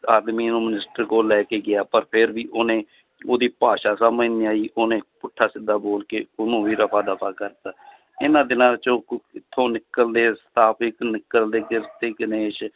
ਆਦਮੀ ਨੂੰ minister ਕੋਲ ਲੈ ਕੇ ਗਿਆ ਪਰ ਫਿਰ ਵੀ ਉਹਨੇ ਉਹਦੀ ਭਾਸ਼ਾ ਸਮਝ ਨੀ ਆਈ ਉਹਨੇ ਪੁੱਠਾ ਸਿੱਧਾ ਬੋਲ ਕੇ ਉਹਨੂੰ ਉਵੇਂ ਰਫ਼ਾ ਦਫ਼ਾ ਕਰ ਦਿੱਤਾ ਇਹਨਾਂ ਦਿਨਾਂ 'ਚ ਕਿੱਥੋਂ ਨਿਕਲਦੇ